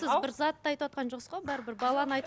сіз бір затты айтыватқан жоқсыз ғой бәрібір баланы айтып